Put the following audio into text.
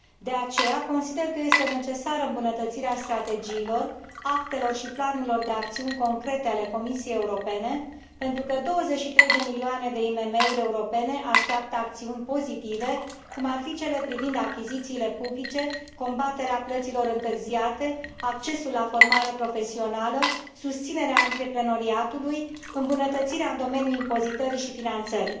De aceea, consider că este necesară îmbunătățirea strategiilor, actelor și planurilor de acțiuni concrete ale Comisiei Europene 23 de milioane de IMM uri europene așteaptă acțiuni pozitive, cum ar fi cele privind achizițiile publice, combaterea plăților întârziate, accesul la formare profesională, susținerea antreprenoriatului și îmbunătățirea în domeniul impozitării și finanțării.